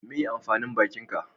Meye amfanin bakin ka?